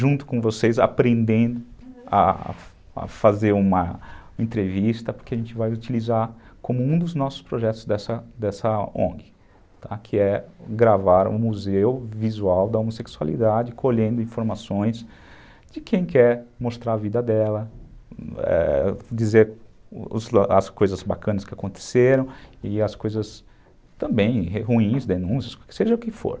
junto com vocês, aprendendo a a fazer uma entrevista, porque a gente vai utilizar como um dos nossos projetos dessa dessa ongue, que é gravar um museu visual da homossexualidade, colhendo informações de quem quer mostrar a vida dela, eh, dizer as coisas bacanas que aconteceram e as coisas também ruins, denúncias, seja o que for.